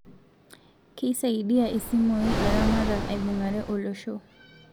Keisaidia isimui ilaramatak aibungare olosho